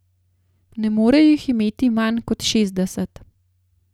Ne more jih imeti manj kot šestdeset.